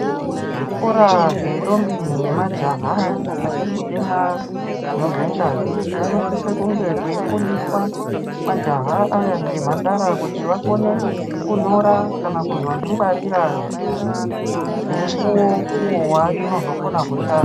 Zvikora zventombi nemajaha, achirikutemwa dzimwe dzengazi , kunosise kunge kuyifundiswa majaha aya ngemhandara kuti vakone kunyora kana kuzvozvingwarira pemukuwo uwo watonozokone kushanda.